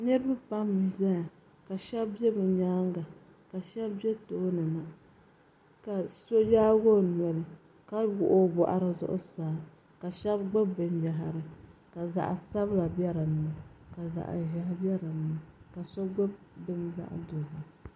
niriba pam m-beni ka shɛba be bɛ nyaaga ka shɛba be tooni ka so yaagi o noli ka wuɣi o bɔɣiri zuɣusaa ka shɛba gbubi binyɛhiri ka zaɣ' sabila be din ni ka zaɣ' ʒɛhi ka so gbubi bini zaɣ' dozim.